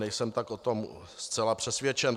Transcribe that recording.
Nejsem tak o tom zcela přesvědčen.